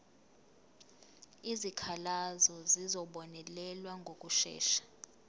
izikhalazo zizobonelelwa ngokushesha